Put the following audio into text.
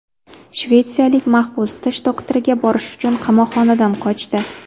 Shvetsiyalik mahbus tish doktoriga borish uchun qamoqxonadan qochdi.